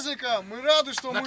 Biz qayıtdığımıza şadıq.